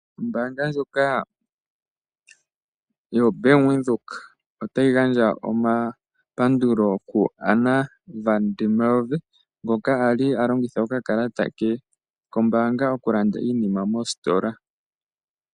Ombaanga yaBank Windhoek otayi gandja omapandulo ku Anna van der Merwe . Okwali alongitha okakalata ke kombaanga okulanda iilandomwa mositola .